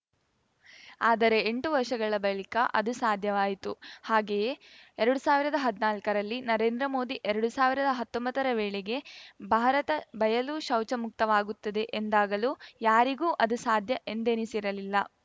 ಆದರೆ ಎಂಟು ವರ್ಷಗಳ ಬಳಿಕ ಅದು ಸಾಧ್ಯವಾಯಿತು ಹಾಗೇ ಎರಡು ಸಾವಿರದ ಹದ್ನಾಲ್ಕರಲ್ಲಿ ನರೇಂದ್ರ ಮೋದಿ ಎರಡು ಸಾವಿರದ ಹತ್ತೊಂಬತ್ತರ ವೇಳೆಗೆ ಭಾರತ ಬಯಲು ಶೌಚಮುಕ್ತವಾಗುತ್ತದೆ ಎಂದಾಗಲೂ ಯಾರಿಗೂ ಅದು ಸಾಧ್ಯ ಎಂದೆನಿಸಿರಲಿಲ್ಲ